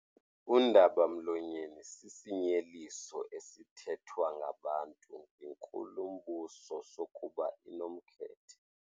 Undaba-mlonyeni sisinyeliso esithethwa ngabantu ngenkulumbuso sokuba inomkhethe.